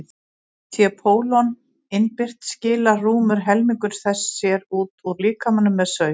sé pólon innbyrt skilar rúmur helmingur þess sér út úr líkamanum með saur